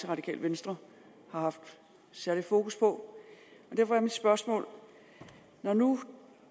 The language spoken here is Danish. radikale venstre har haft særlig fokus på og derfor er mit spørgsmål når nu